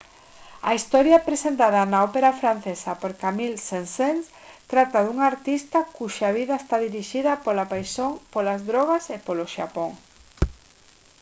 a historia presentada na ópera francesa por camille saint-saens trata dun artista cuxa vida está dirixida pola paixón polas drogas e polo xapón